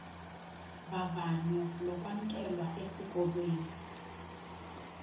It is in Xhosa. vavanyo lokwamkelwa esikolweni